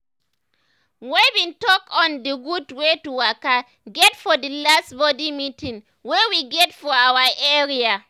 we bin talk on d gud wey to waka get for the last body meeting wey we get for our area.